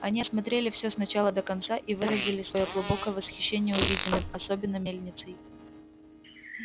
они осмотрели всё с начала до конца и выразили своё глубокое восхищение увиденным особенно мельницей